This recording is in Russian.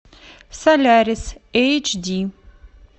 солярис эйч ди